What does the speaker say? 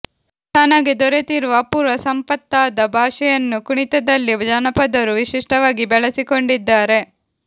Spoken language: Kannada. ತನಗೆ ದೊರೆತಿರುವ ಅಪೂರ್ವ ಸಂಪತ್ತಾದ ಭಾಷೆಯನ್ನು ಕುಣಿತದಲ್ಲಿ ಜನಪದರು ವಿಶಿಷ್ಟವಾಗಿ ಬಳಸಿಕೊಂಡಿದ್ದಾರೆ